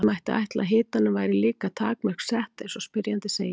Því mætti ætla að hitanum væri líka takmörk sett eins og spyrjandi segir.